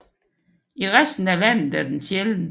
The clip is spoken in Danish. I resten af landet er den sjælden